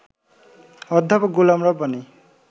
অধ্যাপক গোলাম রব্বানী